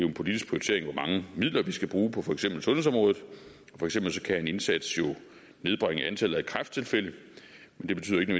en politisk prioritering hvor mange midler vi skal bruge på for eksempel sundhedsområdet for eksempel kan en indsats jo nedbringe antallet af kræfttilfælde men det betyder ikke